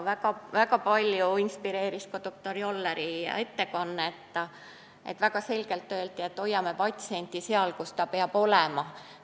Palju inspireeris ka doktor Jolleri ettekanne, kus väga selgelt öeldi, et hoiame patsienti seal, kus ta peab olema.